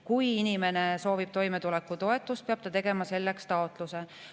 Kui inimene soovib toimetulekutoetust, peab ta tegema selleks taotluse.